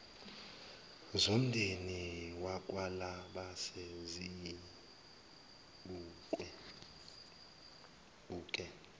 zomndeni wakwalabase sizibuke